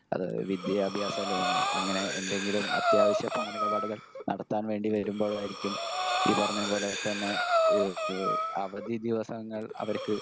speaker 1 അത് വിദ്യാഭ്യാസ ലോണോ അങ്ങനെ എന്തെങ്കിലും അത്യാവശ്യ പണമിടപാടുകൾ നടത്താൻ വേണ്ടി വരുമ്പോളായിരിക്കും ഈ പറഞ്ഞ പോലെ തന്നെ ഏഹ് ഏഹ് അവധി ദിവസങ്ങൾ അവർക്ക്